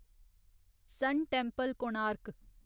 सन Temple, Konark